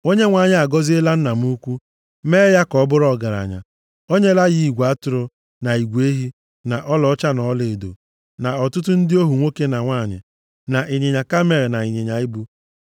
Onyenwe anyị agọziela nna m ukwu, mee ya ka ọ bụrụ ọgaranya. O nyela ya igwe atụrụ, na igwe ehi, na ọlaọcha na ọlaedo, na ọtụtụ ndị ohu nwoke na nwanyị, na ịnyịnya kamel, na ịnyịnya ibu.